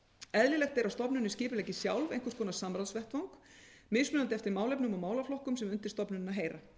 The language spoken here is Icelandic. eðlilegt er að stofnunin skipuleggi sjálf einhvers konar samráðsvettvang mismunandi eftir málefnum og málaflokkum sem undir stofnunina heyra